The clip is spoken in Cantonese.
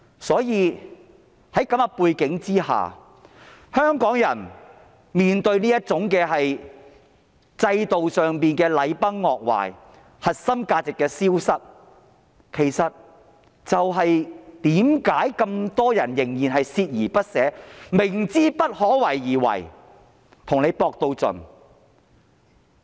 所以，在這種背景下，香港人面對這種制度上的禮崩樂壞，核心價值的消失，其實正是為何這麼多人仍然鍥而不捨，明知不可為而為之，要跟她拼到盡。